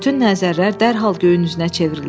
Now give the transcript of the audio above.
Bütün nəzərlər dərhal göyün üzünə çevrildi.